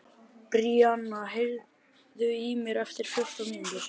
Bríanna, heyrðu í mér eftir fjórtán mínútur.